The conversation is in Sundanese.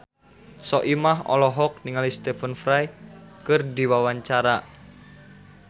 Soimah olohok ningali Stephen Fry keur diwawancara